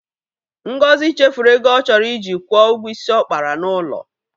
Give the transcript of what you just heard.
Ngozi chefuru ego ọ chọrọ iji kwụọ ụgwọ isi ọ kapara n'ụlọ.